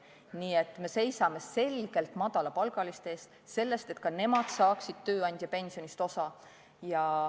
Nii et me seisame selgelt madalapalgaliste eest, selle eest, et ka nemad saaksid tööandjapensionist osa.